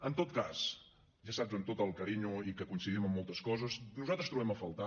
en tot cas ja saps amb tot el carinyo i que coincidim en moltes coses nosaltres trobem a faltar